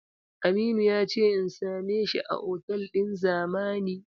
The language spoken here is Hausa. Aminu ya ce in same shi a otal ɗin Zamani.